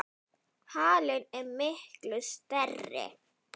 Halinn er miklu stærri.